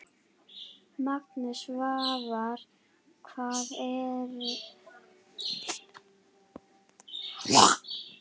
Magnús: Svavar, hvað segir þú?